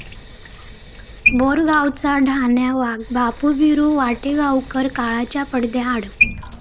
बोरगावचा 'ढाण्या वाघ' बापू बिरू वाटेगावकर काळाच्या पडद्याआड